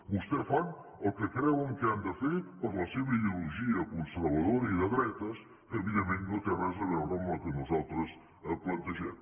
vostès fan el que creuen que han de fer per la seva ideologia conservadora i de dretes que evidentment no té res a veure amb el que nosaltres plantegem